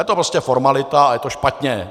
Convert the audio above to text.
Je to prostě formalita a je to špatně.